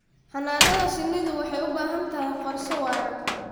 Xannaanada shinnidu waxay u baahan tahay qorshe waara.